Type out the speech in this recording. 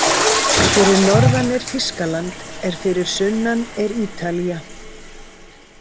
Fyrir norðan er Þýskaland en fyrir sunnan er Ítalía.